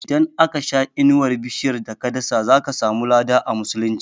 Idan aka sha inuwar bishiyar da ka dasa, zaka samu lada a musulunci